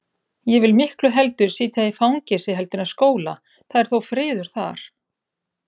Ég vil miklu heldur sitja í fangelsi heldur en skóla, það er þó friður þar.